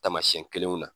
Taamasiyɛn kelenw na